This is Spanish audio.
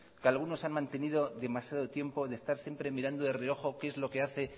que algunos han mantenido demasiado tiempo de estar siempre mirando de reojo qué es lo que hace